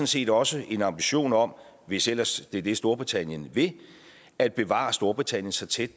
set også en ambition om hvis ellers det er det storbritannien vil at bevare storbritannien så tæt